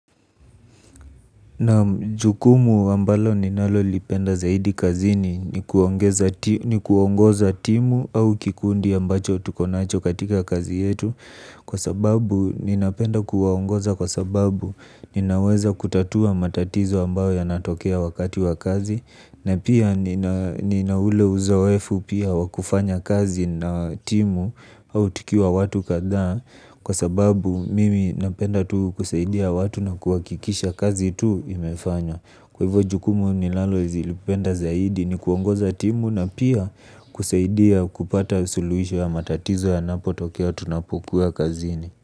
Naam jukumu ambalo ninalolipenda zaidi kazini ni kuongoza timu au kikundi ambacho tuko nacho katika kazi yetu. Kwa sababu ninapenda kuwaongoza kwa sababu ninaweza kutatua matatizo ambayo yanatokea wakati wa kazi. Na pia nina ule uzoefu pia wa kufanya kazi na timu au tukiwa watu kadhaa kwa sababu mimi napenda tu kusaidia watu na kihakikisha kazi tu imefanywa kwa hivyo jukumu ninalolipenda zaidi ni kuongoza timu na pia kusaidia kupata suluhisho ya matatizo yanapotokea tunapokuwa kazini.